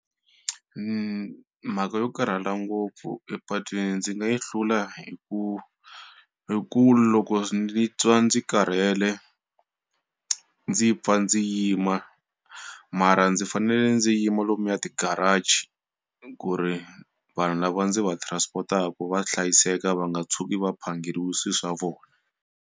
Mhaka yo karhala ngopfu epatwini ndzi nga yi hlula hi ku hi ku loko ndzi twa ndzi karhele ndzi pfa ndzi yima mara ndzi fanele ndzi yima lomuya ti garage ku ri vanhu lava ndzi va transport-aku va hlayiseka va nga tshuki va phangeriwe swi swa vona.